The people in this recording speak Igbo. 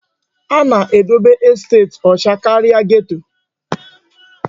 A na-edebe estet ọcha karịa geto.